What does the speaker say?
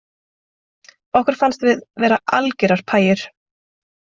Okkur fannst við vera algerar pæjur